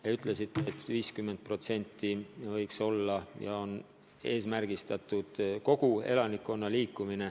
Te ütlesite, et kogu elanikkonna puhul on eesmärgiks seatud 50%.